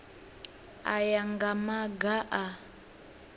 u ya nga maga a